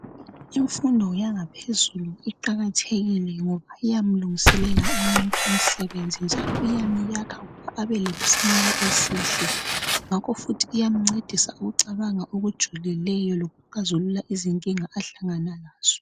Imfundo yangaphezulu iqakathekile ngoba iyamlungiselela umuntu umsebenzi njalo iyamyakha abelesimilo esihle ngakho futhi iyamncedisa ukucabanga olujulileyo lokuxazulula izinkinga ahlangana lazo.